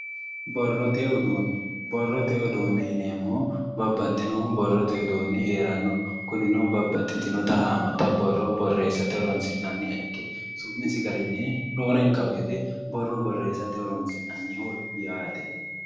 Borrote uduunne borrote uduunne yineemmohu babbaxxinohu borrote uduunni heeranno kunino babbaxxitinota haammata borro borreessate horonsi'nanniha ikke su'misi garinni roorenka woyte borro borreessate horonsi'nanniho yaate